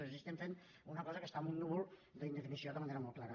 és a dir estem fent una cosa que està en un núvol d’indefinició de manera molt clara